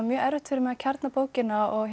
erfitt fyrir mig að kjarna bókina og